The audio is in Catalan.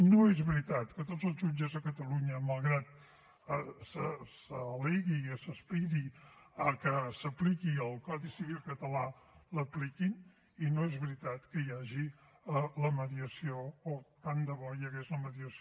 no és veritat que tots els jutges a catalunya malgrat que s’al·legui i s’aspiri que s’apliqui el codi civil català l’apliquin i no és veritat que hi hagi la mediació o tant de bo hi hagués la mediació